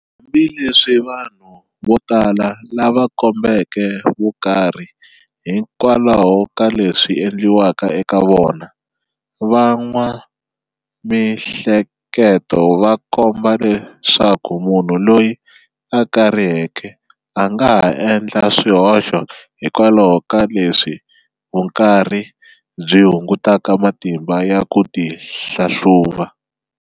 Hambileswi vanhu votala lava kombeke vukarhi hikwalaho ka leswi"endliweke eka vona", va n'wa mihleketo va komba leswaku munhu loyi akariheke angaha endla swihoxo hikwalaho ka leswi vukarhi byi hungutaka matimba ya ku ti hlahluva.